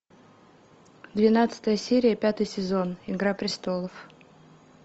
двенадцатая серия пятый сезон игра престолов